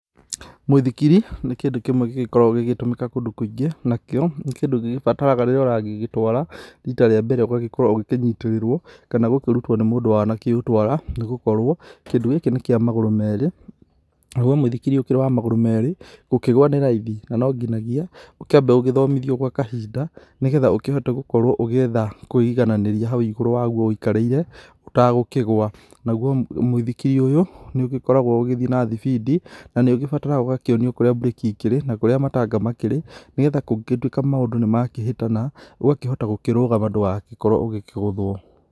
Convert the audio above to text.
Mũithikiri nĩ kĩndũ kĩmwe gĩgĩkoragwo gĩgĩtũmĩka kũndũ kũingĩ. Nakĩo nĩ kĩndũ gĩgĩbataraga rĩrĩa ũragigĩtwara rita rĩa mbere ũgagĩkorwo ũgĩkĩnyitĩrĩrwo, kana gũkĩrutwo nĩ mũndũ wana kĩũtwara. Nĩ gũkorwo kĩndũ gĩkĩ nĩ kĩa magũrũ merĩ, naguo mũithikiri ũkĩrĩ wa magũrũ merĩ, gũkĩgũa nĩ raithi. Na nonginagia ũkĩambe ũgĩthomithia gwa kahinda, nĩ getha ũkĩhote gũkorwo ũgĩetha kũĩigananĩria hau igũrũ waguo wikarĩire, ũtagũkĩgwa. Naguo mũithikiri ũyũ nĩ ũgĩkoragwo ũgĩthiĩ na thibindi na nĩ ũgibataraga ũgakionio kũrĩa mbureki ikĩrĩ na kurĩa matanga makĩrĩ. Nĩ getha kũngĩ gĩtuĩka maũndũ nĩ makĩhĩtana ũgakĩhota gũkĩrũgama ndũgagĩkorwo ũgĩkĩgũthwo.